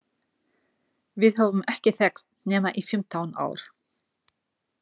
Við höfum ekki þekkst nema í fimmtán ár.